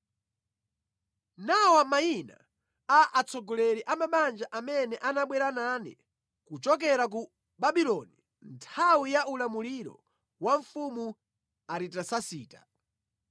Nawa mayina a atsogoleri a mabanja amene anabwera nane kuchokera ku Babuloni nthawi ya ulamuliro wa mfumu Aritasasita: